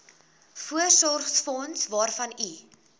voorsorgsfonds waarvan u